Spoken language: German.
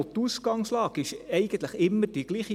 Die Ausgangslage ist eigentlich immer die Gleiche.